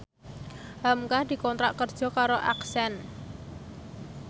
hamka dikontrak kerja karo Accent